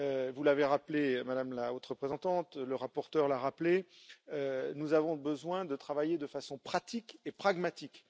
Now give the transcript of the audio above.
Vous l'avez rappelé, Madame la Haute Représentante, le rapporteur l'a rappelé, nous avons besoin de travailler de façon pratique et pragmatique.